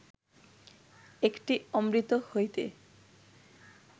একটি অমৃত হইতে